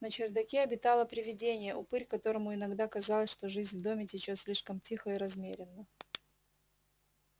на чердаке обитало привидение упырь которому иногда казалось что жизнь в доме течёт слишком тихо и размеренно